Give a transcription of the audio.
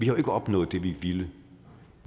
jo ikke opnået det vi ville